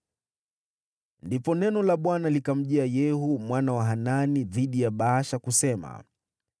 Ndipo neno la Bwana likamjia Yehu mwana wa Hanani dhidi ya Baasha, kusema: